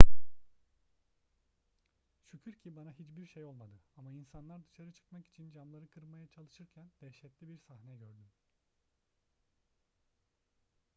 şükür ki bana hiçbir şey olmadı ama insanlar dışarı çıkmak için camları kırmaya çalışırken dehşetli bir sahne gördüm